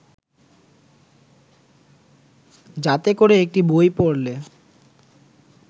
যাতে করে একটি বই পড়লে